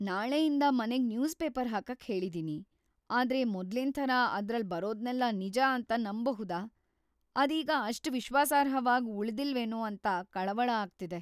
ನಾಳೆಯಿಂದ ಮನೆಗ್‌‌ newspaper ಹಾಕಕ್‌ ಹೇಳಿದೀನಿ. ಆದ್ರೆ ಮೊದ್ಲಿನ್‌ ಥರ ಅದ್ರಲ್ಲ್‌ ಬರೋದ್ನೆಲ್ಲ ನಿಜ ಅಂತ ನಂಬ್‌ಬಹುದಾ, ಅದೀಗ ಅಷ್ಟ್‌ ವಿಶ್ವಾಸಾರ್ಹವಾಗ್‌ ಉಳ್ದಿಲ್ವೇನೋ ಅಂತ ಕಳವಳ ಆಗ್ತಿದೆ.